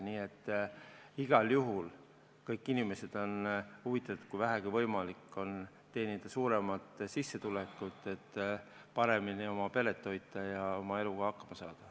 Nii et igal juhul on kõik inimesed huvitatud, kui vähegi võimalik, sellest, et teenida suuremat sissetulekut, et paremini oma peret toita ja oma eluga hakkama saada.